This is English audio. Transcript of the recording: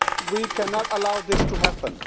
We cannot allow this to happen.